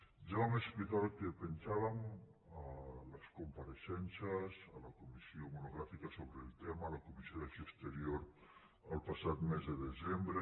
ja vam explicar el que pensàvem a les compareixences a la comissió monogràfica sobre el tema a la comissió d’acció exterior el passat mes de desembre